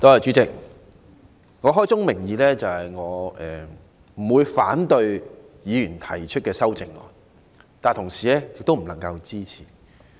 主席，開宗明義，我不會反對議員提出的修正案，但同時亦不能支持。